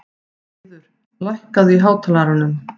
Eiður, lækkaðu í hátalaranum.